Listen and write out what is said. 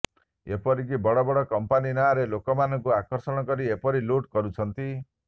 ଏପରିକି ବଡ଼ବଡ଼ କମ୍ପାନି ନାଁରେ ଲୋକମାନଙ୍କୁ ଆକର୍ଷଣ କରି ଏପରି ଲୁଟ୍ କରୁଛନ୍ତି